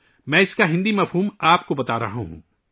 میں آپ کو اس کا ہندی کا ترجمہ بتا رہا ہوں